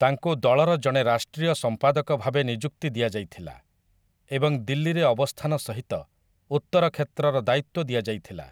ତାଙ୍କୁ ଦଳର ଜଣେ ରାଷ୍ଟ୍ରୀୟ ସମ୍ପାଦକ ଭାବେ ନିଯୁକ୍ତି ଦିଆଯାଇଥିଲା, ଏବଂ ଦିଲ୍ଲୀରେ ଅବସ୍ଥାନ ସହିତ ଉତ୍ତର କ୍ଷେତ୍ରର ଦାୟିତ୍ୱ ଦିଆଯାଇଥିଲା ।